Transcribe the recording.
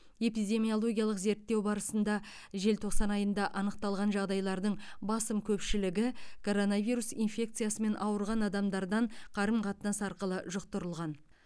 эпидемиологиялық зерттеу барысында желтоқсан айында анықталған жағдайлардың басым көпшілігі коронавирус инфекциясымен ауырған адамдардан қарым қатынас арқылы жұқтырылған